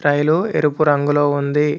రైలు ఎరుపు రంగులో ఉంది.